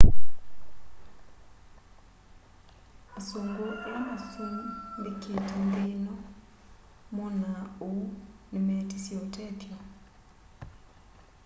asungũ ala masũmbikite nthi ino moona ũu ni meetisye ũtethyo